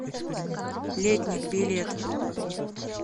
летник билет